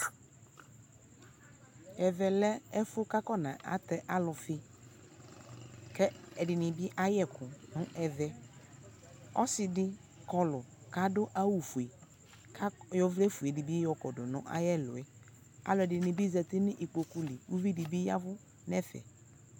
ɛvɛ lɛ ɛfʋ kʋ afɔna tɛ alʋfi, kʋ ɛdini bi ayɛkʋ nʋ ɛvɛ, ɔsiidi kɔlʋ kʋ adʋ awʋ ƒʋɛ kʋ ayɔ ɔvlɛ ƒʋɛ dibi yɔkɔdʋ nʋ ayɛ ɛlʋɛ, alʋɛdini bi zati nʋ ikpɔkʋ li, alʋɛdini bi yavʋ